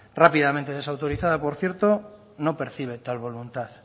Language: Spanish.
rápidamente desautorizada por cierto no percibe tal voluntad